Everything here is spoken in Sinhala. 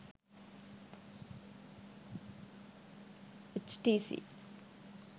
htc